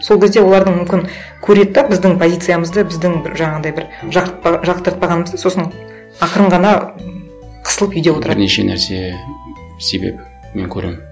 сол кезде олардың мүмкін көреді де біздің позициямызды біздің бір жаңағындай бір жақтыртпағанымызды сосын ақырын ғана м қысылып үйде отырады бірнеше нәрсе себеп мен көремін